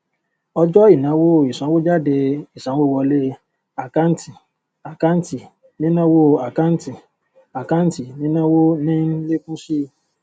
ọjọ ìnáwó ìsanwójádé ìsanwówọlé àkántìàkántì nínáwó àkántìàkántì nínáwó ní ń lékún síi